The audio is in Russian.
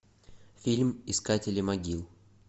фильм искатели могил